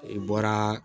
I bɔra